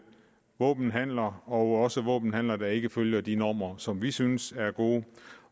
våbenhandler også våbenhandler der ikke følger de normer som vi synes er gode